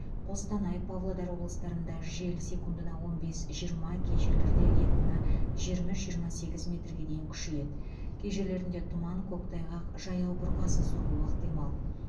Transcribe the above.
қостанай павлодар облыстарында жел секундына он бес жиырма кей жерлерде екпіні жиырма үш жиырма сегіз метрге дейін күшейеді кей жерлерінде тұман көктайғақ жаяу бұрқасын соғуы ықтимал